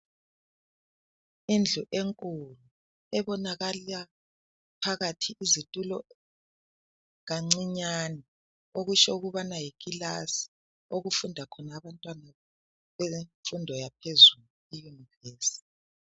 Indlu enkulu, ebonakala phakathi izitulo kancinyane okusho ukubana yikilasi okufunda khona abantwana bemfundo yaphezulu i univesi